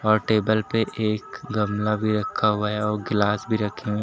और टेबल पे एक गमला भी रखा हुआ है और वह गिलास भी रखी हुई--